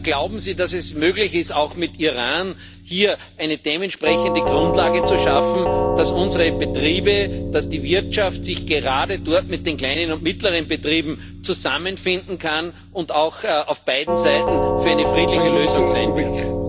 Glauben Sie, dass es möglich ist, auch mit Iran hier eine dementsprechende Grundlage zu schaffen, dass unsere Betriebe, dass die Wirtschaft sich gerade dort mit den kleinen und mittleren Betrieben zusammenfinden kann und auch auf beiden Seiten für eine friedliche Lösung sein wird?